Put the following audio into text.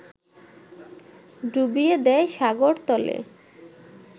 ডুবিয়ে দেয় সাগরতলে